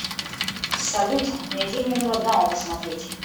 салют найди мне мелодраму посмотреть